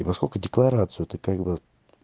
и поскольку декларацию то как бы